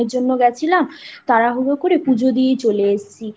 একদিনের জন্য গেছিলাম তাড়াহুড়ো করে পুজো দিয়ে চলে এসেছি